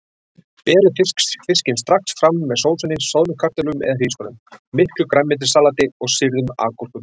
Berið fiskinn strax fram með sósunni, soðnum kartöflum eða hrísgrjónum, miklu grænmetissalati og sýrðum agúrkum.